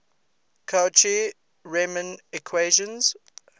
cauchy riemann equations